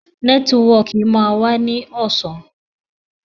Nẹ́tíwọkì máa wá ní ọ̀sán